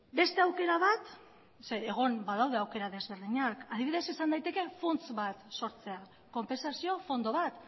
ez egon badaude aukera desberdinak beste aukera bat adibidez funts bat sortzea izan daiteke konpentsazio fondo bat